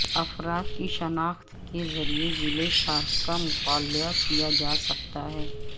افراد کی شناخت کے ذریعہ ویلے شارک کا مطالعہ کیا جا سکتا ہے